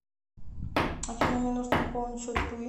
афина мне нужно пополнить счет туи